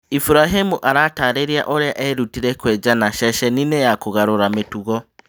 Iburahimu aratarĩria ũrĩa erutire kwenjana ceceninĩ ya kũgarũrĩra mĩtugo